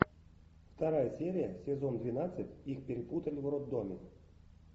вторая серия сезон двенадцать их перепутали в роддоме